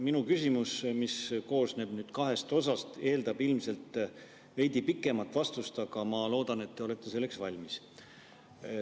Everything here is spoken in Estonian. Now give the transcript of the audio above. Minu küsimus, mis koosneb kahest osast, eeldab ilmselt veidi pikemat vastust, aga ma loodan, et te olete selleks valmis.